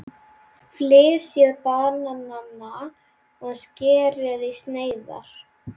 Flysjið bananana og skerið í sneiðar.